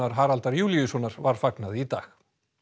Haraldar Júlíussonar var fagnað í dag